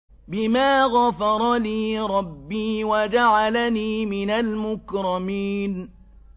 بِمَا غَفَرَ لِي رَبِّي وَجَعَلَنِي مِنَ الْمُكْرَمِينَ